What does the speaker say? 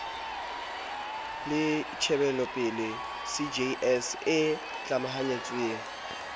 le tjhebelopele cjs e tlamahantsweng